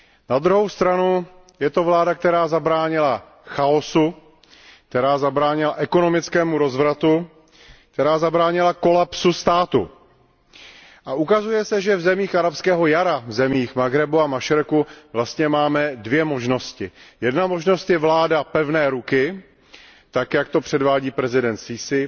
Na druhou stranu je to vláda, která zabránila chaosu, která zabránila ekonomickému rozvratu, která zabránila kolapsu státu. A ukazuje se, že v zemích arabského jara, v zemích Maghrebu a Mašreku, vlastně máme dvě možnosti. Jedna možnost je vláda pevné ruky tak, jak to předvádí prezident as Sísí,